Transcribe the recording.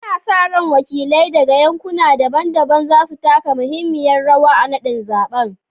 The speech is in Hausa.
Ana sa ran wakilai daga yankuna daban-daban za su taka muhimmiyar rawa a naɗin zaɓen